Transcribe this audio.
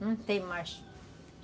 Não tem mais.